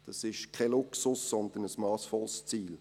Das ist kein Luxus, sondern ein massvolles Ziel.